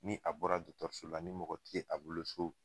Ni a bɔra dɔgɔtɔrɔso la ni mɔgɔ ti ye a bolo so.